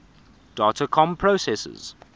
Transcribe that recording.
data comm processors